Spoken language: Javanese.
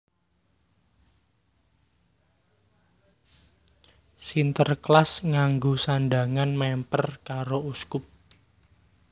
Sinterklas nganggo sandhangan mèmper karo uskup